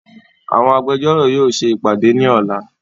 Àwọn Agbẹjọ́rò yóò ṣe ìpàdé ní ọ̀la